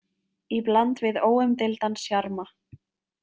Í bland við óumdeildan sjarma.